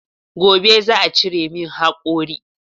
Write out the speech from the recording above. Gobe za'a cire min haƙori